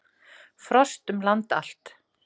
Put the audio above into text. Frost um land allt